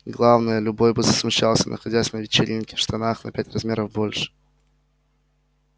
главное любой бы засмущался находясь на вечеринке в штанах на пять размеров больше